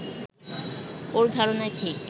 ওর ধারণাই ঠিক